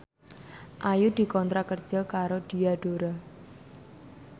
Ayu dikontrak kerja karo Diadora